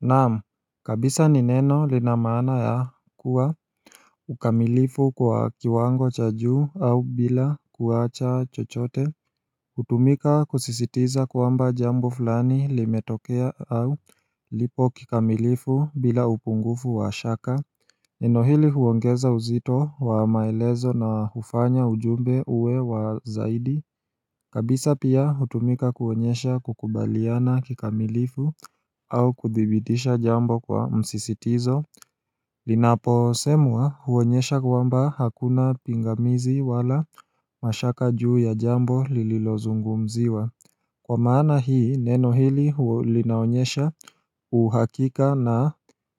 Naam, kabisa ni neno lina maana ya kuwa ukamilifu kwa kiwango cha juu au bila kuacha chochote Utumika kusisitiza kwamba jambo fulani limetokea au lipo kikamilifu bila upungufu wa shaka Neno hili huongeza uzito wa maelezo na hufanya ujumbe uwe wa zaidi kabisa pia hutumika kuonyesha kukubaliana kikamilifu au kuthibidisha jambo kwa msisitizo Linaposemwa huonyesha kwamba hakuna pingamizi wala mashaka juu ya jambo lililozungumziwa Kwa maana hii neno hili linaonyesha uhakika na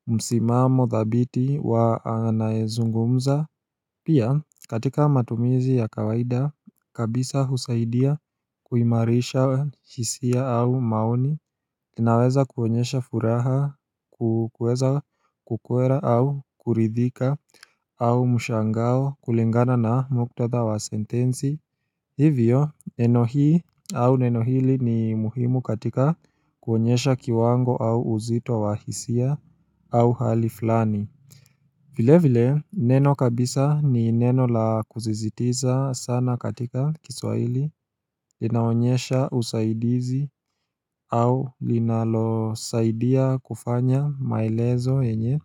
msimamo dhabiti wa anaezungumza Pia katika matumizi ya kawaida kabisa husaidia kuimarisha hisia au maoni inaweza kuonyesha furaha kuweza kukwela au kuridhika au mshangao kulingana na muktadha wa sentensi Hivyo neno hii au neno hili ni muhimu katika kuonyesha kiwango au uzito wa hisia au hali flani vile vile, neno kabisa ni neno la kuzizitiza sana katika kiswaili, inaonyesha usaidizi au linalosaidia kufanya maelezo yenye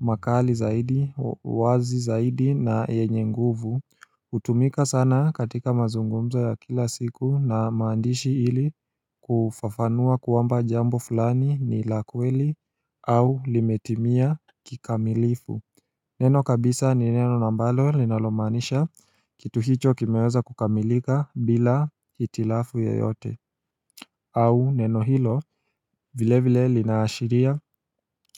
makali zaidi, wazi zaidi na yenye nguvu Utumika sana katika mazungumzo ya kila siku na maandishi ili kufafanua kwamba jambo fulani ni la kweli au limetimia kikamilifu Neno kabisa ni neno na ambalo linalomaanisha kitu hicho kimeweza kukamilika bila hitilafu yoyote au neno hilo vilevile linaashiria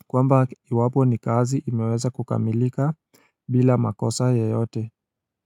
kwamba iwapo ni kazi imeweza kukamilika bila makosa yeyote.